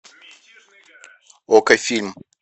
окко фильм